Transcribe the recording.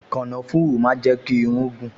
Kànáfùrù máa ń jẹ́ kí irún gùn